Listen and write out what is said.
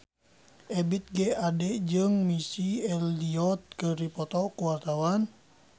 Ebith G. Ade jeung Missy Elliott keur dipoto ku wartawan